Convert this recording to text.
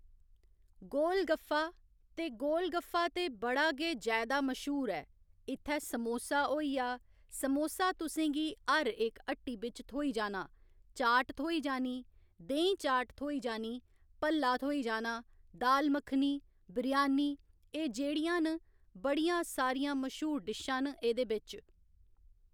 गोल गफ्फा ते गोल गफ्फा ते बड़ा गै जैदा मश्हूर ऐ इत्थै समोसा होइया समोसा तुसेंगी हर इक हट्टी बिच्च थ्होई जाना चाट थ्होई जानी, देहीं चाट थ्होई जानी, भल्ला थ्होई जाना, दाल मक्खनी, बिरयानी एह जेह्‌ड़ियां न बड़ियां सारियां मश्हूर डिशां न एह्दे बिच